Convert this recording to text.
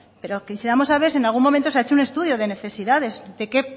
pero quisiéramos saber si en algún momento se ha hecho un estudio de necesidades de qué